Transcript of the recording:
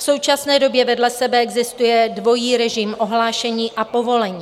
V současné době vedle sebe existuje dvojí režim ohlášení a povolení.